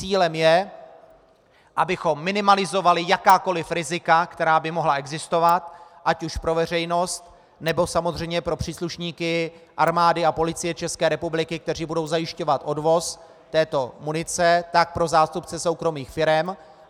Cílem je, abychom minimalizovali jakákoliv rizika, která by mohla existovat ať už pro veřejnost, nebo samozřejmě pro příslušníky Armády a Policie České republiky, kteří budou zajišťovat odvoz této munice, tak pro zástupce soukromých firem.